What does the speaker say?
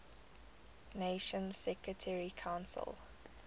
nations security council